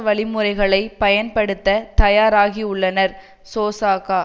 வழிமுறைகளை பயன்படுத்த தயாராகியுள்ளனர் சோசக